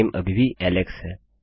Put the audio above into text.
नाम अभी भी एलेक्स है